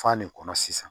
F'a ne kɔnɔ sisan